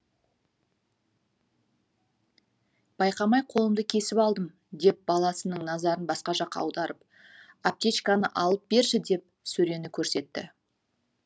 байқамай қолымды кесіп алдым деп баласының назарын басқа жаққа аударып аптечканы алып берші деп сөрені көрсетті